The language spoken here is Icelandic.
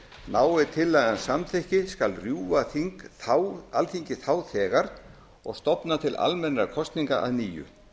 nái tillagan samþykki skal rjúfa alþingi þá þegar og stofna til almennra kosninga að nýju